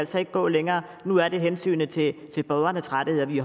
skal gå længere nu er det hensynet til borgernes rettigheder vi